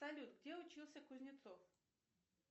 салют где учился кузнецов